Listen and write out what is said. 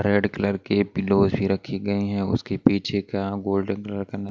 red colour के pillows भी रखी गई हैं उसके पीछे का गोल्डन कलर का --